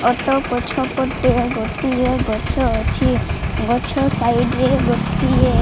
Auto ପଛପଟେ ଗୋଟିଏ ଗଛ ଅଛି। ଗଛ ସାଇଟ୍ ରେ ଗୋଟିଏ --